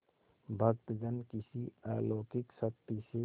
भक्तजन किसी अलौकिक शक्ति से